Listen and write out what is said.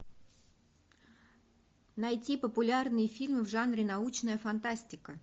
найти популярные фильмы в жанре научная фантастика